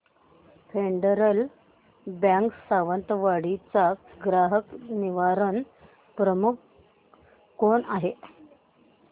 federal Bank Sawantwadi चा ग्राहक निवारण प्रमुख कोण आहे